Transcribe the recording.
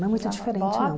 Não é muito diferente, não.